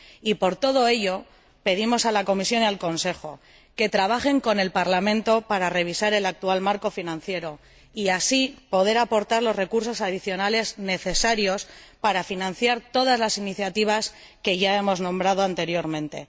Y, por todo ello, pedimos a la Comisión y al Consejo que trabajen con el Parlamento para revisar el actual Marco financiero y así poder aportar los recursos adicionales necesarios para financiar todas las iniciativas que ya hemos nombrado anteriormente.